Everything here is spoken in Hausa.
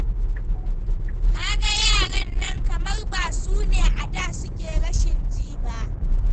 Ka ga yaran nan kamar ba su ne a da suke rashin ji ba.